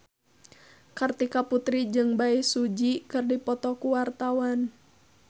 Kartika Putri jeung Bae Su Ji keur dipoto ku wartawan